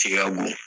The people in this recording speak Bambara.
Ci ka bon